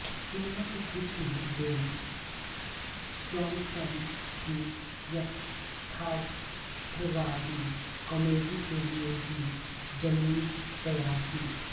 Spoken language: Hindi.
इनमें से कुछ ने बेन जॉन्सन की यथार्थवादी कॉमेडी के लिए भी जमीन तैयार की